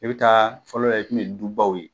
E be taa fɔlɔ la i kun be du baw ye